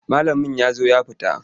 Malamin ya zo ya fita.